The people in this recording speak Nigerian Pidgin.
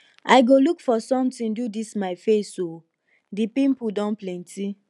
i go look for something do dis my face oo the pimple don plenty